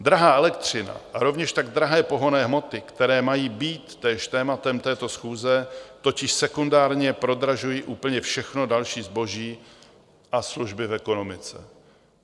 Drahá elektřina a rovněž tak drahé pohonné hmoty, které mají být též tématem této schůze, totiž sekundárně prodražují úplně všechno další zboží a služby v ekonomice.